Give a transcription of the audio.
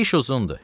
İş uzundur.